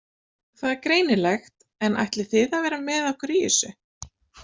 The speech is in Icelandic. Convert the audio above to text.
Það er greinilegt en ætlið þið að vera með okkur í þessu?